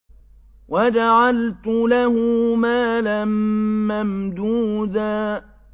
وَجَعَلْتُ لَهُ مَالًا مَّمْدُودًا